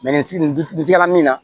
nin sira min na